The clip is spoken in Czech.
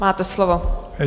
Máte slovo.